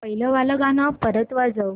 पहिलं वालं गाणं परत वाजव